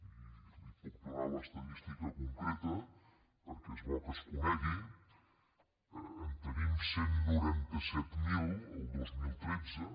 i li’n puc donar l’estadística concreta perquè és bo que es conegui en tenim cent i noranta set mil el dos mil tretze